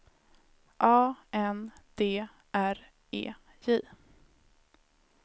A N D R E J